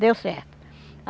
Deu certo.